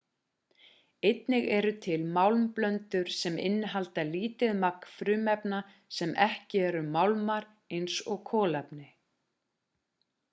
einnig eru til málmblöndur sem innihalda lítið magn frumefna sem ekki eru málmar eins og kolefni